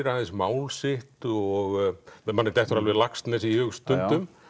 aðeins mál sitt og manni dettur alveg Laxness í hug stundum